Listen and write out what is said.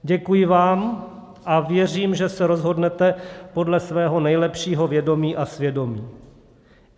Děkuji vám a věřím, že se rozhodnete podle svého nejlepšího vědomí a svědomí.